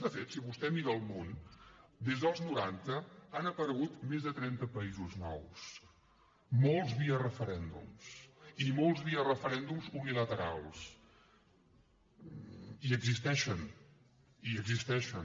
de fet si vostè mira el món des dels noranta han aparegut més de trenta països nous molts via referèndums i molts via referèndums unilaterals i existeixen i existeixen